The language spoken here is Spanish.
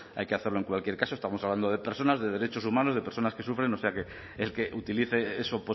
hay que hacerlo en cualquier caso estamos hablando de personas de derechos humanos de personas que sufren o sea que el que utilice eso